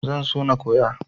Zan so na koya.